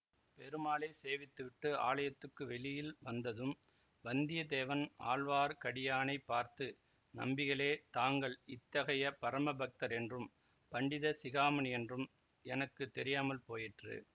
பெருமாளைச் சேவித்துவிட்டு ஆலயத்துக்கு வெளியில் வந்ததும் வந்தியத்தேவன் ஆழ்வார்க்கடியானை பார்த்து நம்பிகளே தாங்கள் இத்தகைய பரம பக்தர் என்றும் பண்டித சிகாமணி என்றும் எனக்கு தெரியாமல் போயிற்று